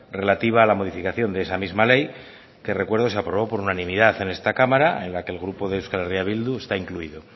relativa a la modificación de esa misma ley que recuerdo se aprobó por unanimidad en esta cámara en la que el grupo de euskal herria bildu está incluido